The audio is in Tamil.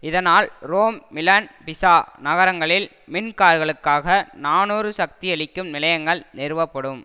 இதனால் ரோம் மிலன் பிசா நகரங்களில் மின் கார்களுக்காக நாநூறு சக்தியளிக்கும் நிலையங்கள் நிறுவப்படும்